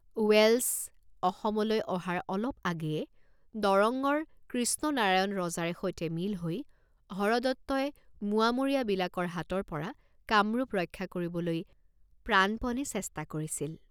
ওৱেলেচ্ আসামলৈ অহাৰ অলপ আগেয়ে দৰঙ্গৰ কৃষ্ণনাৰায়ণ ৰজাৰে সৈতে মিল হৈ হৰদত্তই মোৱামৰীয়াবিলাকৰ হাতৰপৰা কামৰূপ ৰক্ষা কৰিবলৈ প্ৰাণপণে চেষ্টা কৰিছিল।